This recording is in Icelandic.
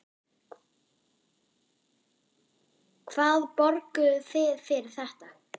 Hvað borguðuð þið fyrir þetta?